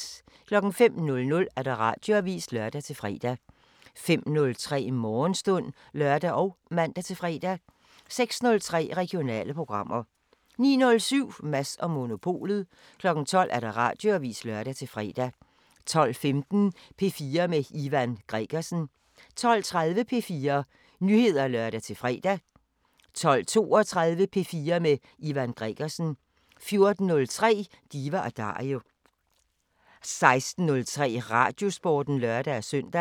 05:00: Radioavisen (lør-fre) 05:03: Morgenstund (lør og man-fre) 06:03: Regionale programmer 09:07: Mads & Monopolet 12:00: Radioavisen (lør-fre) 12:15: P4 med Ivan Gregersen 12:30: P4 Nyheder (lør-fre) 12:32: P4 med Ivan Gregersen 14:03: Diva & Dario 16:03: Radiosporten (lør-søn)